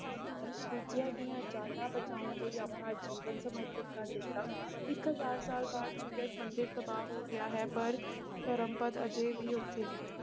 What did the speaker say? ਕੀਤੀ ਦੂਜਿਆਂ ਦੀਆਂ ਜਾਨਾਂ ਬਚਾਉਣ ਲਈ ਆਪਣਾ ਜੀਵਨ ਸਮਰਪਿਤ ਕਰ ਦਿੱਤਾ ਇੱਕ ਹਜ਼ਾਰ ਸਾਲ ਬਾਅਦ ਸੂਰਜ ਮੰਦਿਰ ਤਬਾਹ ਹੋ ਗਿਆ ਹੈ ਪਰ ਧਰਮਪਦ ਹਜੇ ਵੀ ਉੱਥੇ ਹੈ।